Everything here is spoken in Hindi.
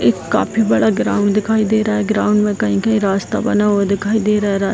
एक काफी बड़ा ग्राउंड दिखाई दे रहा है ग्राउंड में कही-कही रास्ता बना हुआ दिखाई दे रहा है रास --